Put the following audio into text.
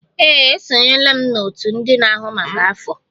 Ee, esonyela m n'òtù ndị na-ahụ maka afọ.